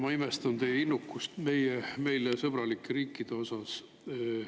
Ma imestan teie innukust meile sõbralike riikide puhul.